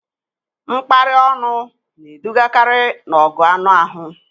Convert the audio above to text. Mkparị ọnụ na-edugakarị n'ọgụ anụ ahụ